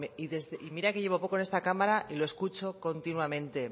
y mira que llevo poco en esta cámara y lo escucho continuamente